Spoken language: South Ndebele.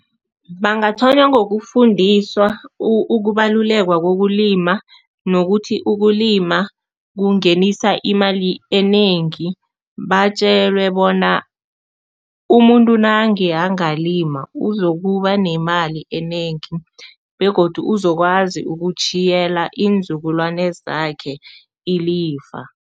Bangathonywa ngokufundiswa ukubaluleka kokulima nokuthi ukulima kungenisa imali enengi. Batjelwe bona umuntu nange angalima, uzokuba nemali enengi begodu uzokwazi ukutjhiyela iinzukulwana zakhe ilifa.